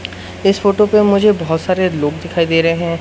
इस फोटो पे मुझे बहोत सारे लोग दिखाई दे रहे हैं।